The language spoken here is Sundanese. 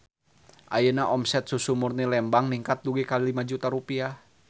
Ayeuna omset Susu Murni Lembang ningkat dugi ka 5 juta rupiah